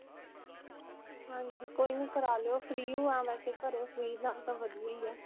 ਹਾਂਜੀ. ਕੋਈ ਨਹੀਂ ਕਰਾ ਲਿਓ free ਵੈਸੇ ਘਰੇ free ਨਾਲੋਂ ਤਾਂ ਵਧੀਆ ਹੀ ਹੈ.